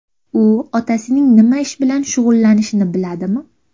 U otasining nima ish bilan shug‘ullanishini biladimi?